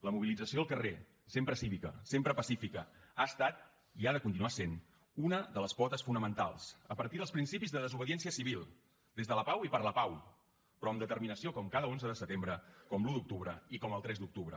la mobilització al carrer sempre cívica sempre pacifica ha estat i ha de continuar sent una de les potes fonamentals a partir dels principis de desobediència civil des de la pau i per la pau però amb determinació com cada onze de setembre com l’un d’octubre i com el tres d’octubre